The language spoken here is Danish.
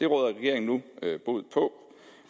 regeringen nu bod på